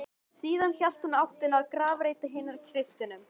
Síðan hélt hún í áttina að grafreit hinna kristnu.